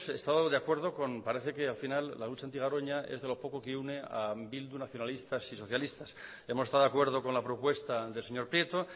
estado de acuerdo con parece que al final la lucha anti garoña es de lo poco que une a bildu nacionalistas y socialistas hemos estado de acuerdo con la propuesta del señor prieto